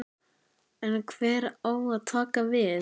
En hver á að taka við?